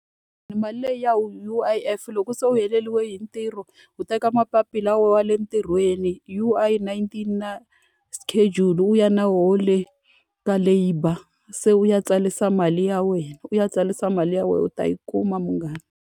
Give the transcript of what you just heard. one mali leyi ya U_I_F loko se u heleriwe hi ntirho, u teka mapapila ya wena ya le ntirhweni U_I 19 na schedule, u ya na wona le ka labour. Se u ya tsarisa mali ya wena, u ya tsarisa mali ya wena u ta yi kuma munghana.